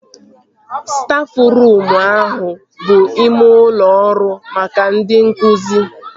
Stafruum ahụ bụ ime ụlọ ọrụ maka ndị nkụzi